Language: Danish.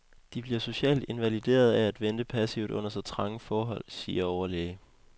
De bliver socialt invaliderede af at vente passivt under så trange forhold, siger overlæge.